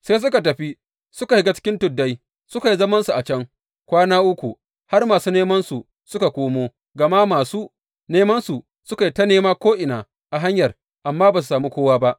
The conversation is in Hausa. Sai suka tafi, suka shiga cikin tuddai, suka yi zamansu a can kwana uku har masu nemansu suka koma, gama masu nemansu suka yi ta nema ko’ina a hanyar, amma ba su sami kowa ba.